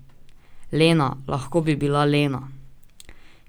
Lena, lahko bi bila Lena.